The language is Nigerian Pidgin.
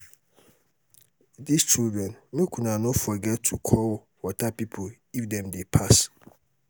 dis children make una no forget to call water people if dem dey pass